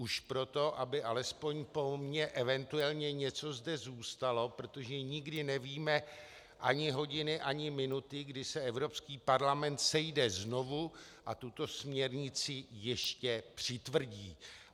Už proto, aby alespoň po mně eventuálně něco zde zůstalo, protože nikdy nevíme ani hodiny ani minuty, kdy se Evropský parlament sejde znovu a tuto směrnici ještě přitvrdí.